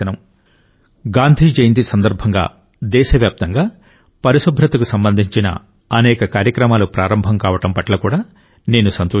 గాంధీ జయంతి మొదలుకుని దేశవ్యాప్తంగా పరిశుభ్రతకు సంబంధించిన అనేక కార్యక్రమాలు ప్రారంభం కావడం పట్ల కూడా నేను సంతోషిస్తున్నాను